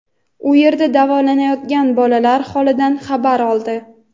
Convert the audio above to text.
u yerda davolanayotgan bolalar holidan xabar oldi.